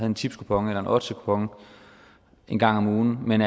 en tipskupon eller en oddsetkupon en gang om ugen men